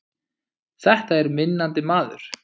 Þetta er vinnandi maður!